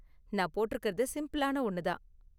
நான் போட்டிருக்கறது சிம்பிளான ஒன்னு தான்.